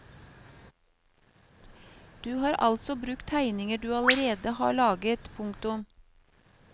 Du har altså brukt tegninger du allerede hadde laget. punktum